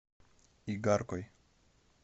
игаркой